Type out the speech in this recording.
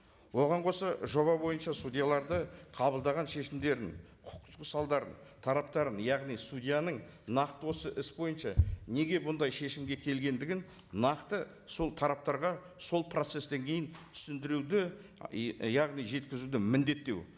оған қоса жоба бойынша судьяларды қабылдаған шешімдердің құқықтық салдарын тараптарын яғни судьяның нақты осы іс бойынша неге бұндай шешімге келгендігін нақты сол тараптарға сол процесстен кейін түсіндіруді яғни жеткізуді міндеттеу